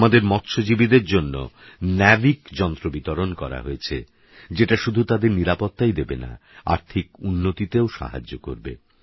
আমাদেরমৎস্যজীবীদেরজন্যেNAVICযন্ত্রবিতরণকরাহয়েছেযেটাশুধুতাদেরনিরাপত্তাইদেবেনা আর্থিকউন্নতিতেওসাহায্যকরবে